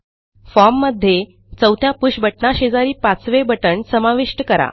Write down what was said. form मध्ये चौथ्या push बटणाशेजारी पाचवे बटण समाविष्ट करा